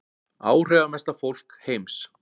Áhrifamesta fólk heims